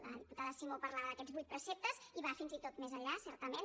la diputada simó parlava d’aquests vuit preceptes i va fins i tot més enllà certament